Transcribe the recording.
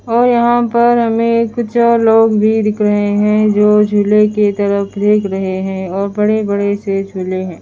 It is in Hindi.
और यहाँ पर हमें कुछ लोग भी दिख रहे हैं जो झूले की तरफ देख रहे हैं और बड़े बड़े से झूले हैं।